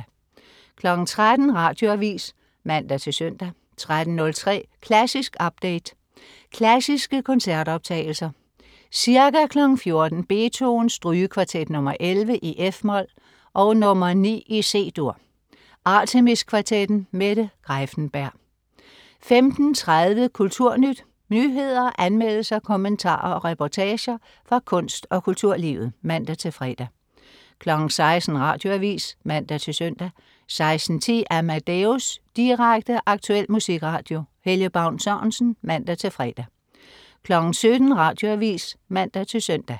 13.00 Radioavis (man-søn) 13.03 Klassisk update. Klassiske koncertoptagelser. Ca. 14:00 Beethoven: Strygekvartet nr. 11, f-mol og nr. 9, C-dur. Artemis Kvartetten. Mette Greiffenberg 15.30 Kulturnyt. Nyheder, anmeldelser, kommentarer og reportager fra kunst- og kulturlivet (man-fre) 16.00 Radioavis (man-søn) 16.10 Amadeus. Direkte, aktuel musikradio. Helge Baun Sørensen (man-fre) 17.00 Radioavis (man-søn)